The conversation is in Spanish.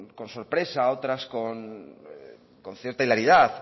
con sorpresa otras con cierta hilaridad